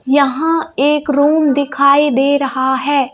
यहां एक रूम दिखाई दे रहा है।